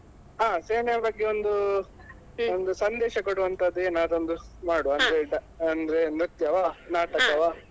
ಹ ಸೇನೆಯ ಬಗ್ಗೆ ಒಂದು ಒಂದು ಸಂದೇಶ ಕೊಡುವಂಥದ್ದು ಏನಾದ್ರೊಂದು ಮಾಡುವ ಅಂದ್ರೆ ನೃತ್ಯವಾ ನಾಟಕವಾ.